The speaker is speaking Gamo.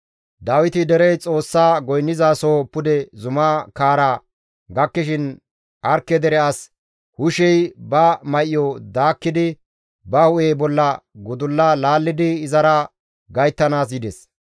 Dawiti derey Xoossa goynnizasoho pude zumaa kaara gakkishin Arkke dere as Hushey ba may7o daakkidi ba hu7e bolla gudulla laallidi izara gayttanaas yides.